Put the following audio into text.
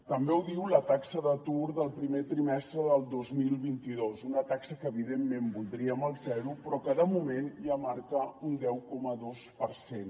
també ho diu la taxa d’atur del primer trimestre del dos mil vint dos una taxa que evidentment voldríem al zero però que de moment ja marca un deu coma dos per cent